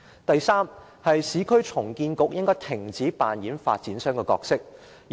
第三，市區重建局應該停止扮演發展商的角色。